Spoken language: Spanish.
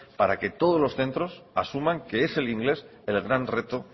para que todos los centros asuman que es el inglés el gran reto